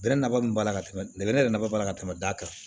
Bɛnɛ nafa min b'a la bɛnɛ yɛrɛ nafa b'a la ka tɛmɛ da kan